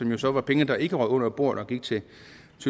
jo så var penge der ikke røg under bordet og gik til